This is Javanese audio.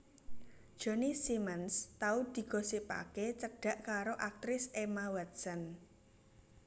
Johnny Simmons tau digosipake cedhak karo aktris Emma Watson